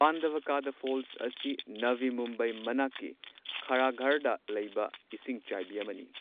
ꯄꯥꯟꯗꯕꯀꯥꯗꯥ ꯐꯣꯜꯁ ꯑꯁꯤ ꯅꯚꯤ ꯃꯨꯝꯕꯥꯏ ꯃꯅꯥꯛꯀꯤ ꯈꯥꯔꯘꯔꯗ ꯂꯩꯕ ꯏꯁꯤꯡꯆꯥꯏꯕꯤ ꯑꯃꯅꯤ꯫